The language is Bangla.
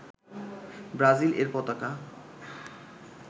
ব্রাজিল এর পতাকা